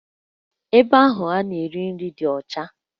Ebe ahụ a na-ere nri dị ọcha